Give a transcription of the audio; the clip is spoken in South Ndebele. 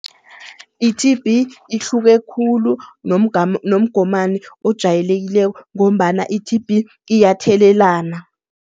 I-T_B ihluke khulu nomgomani ojayelekileko ngombana i-T_B iyathelelana.